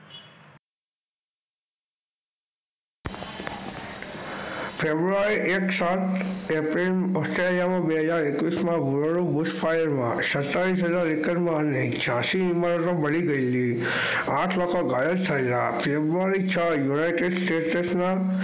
ફેબુઆરી એક સાત Australia માં બે હજાર એક્વીસ માં સડતાલીસ એકર માં અને આઠ લોકો ગયલ થયેલા ફેબૃઆરી છ united state માં,